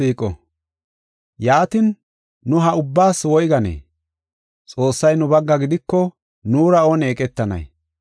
Yaatin, nu ha ubbaas woyganee? Xoossay nu bagga gidiko nuura oone eqetanay?